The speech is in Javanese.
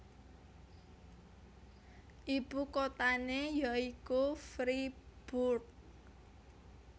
Ibu kotané ya iku Fribourg